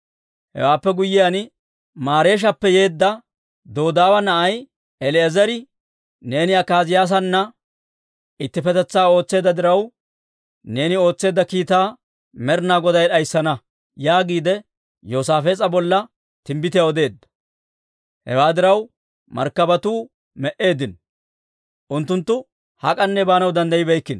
Hewaappe guyyiyaan, Mareeshappe yeedda Dodaawa na'ay El"eezeri, «Neeni Akaaziyaasana ittippetetsaa ootseedda diraw, neeni ootseedda kiitaa Med'inaa Goday d'ayssana» yaagiide, Yoosaafees'a bolla timbbitiyaa odeedda. Hewaa diraw, markkabatuu me"eeddino; unttunttu hak'anne baanaw danddayibeykkino.